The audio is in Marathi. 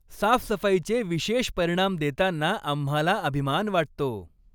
साफसफाईचे विशेष परिणाम देताना आम्हाला अभिमान वाटतो.